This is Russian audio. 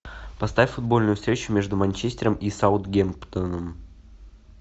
поставь футбольную встречу между манчестером и саутгемптоном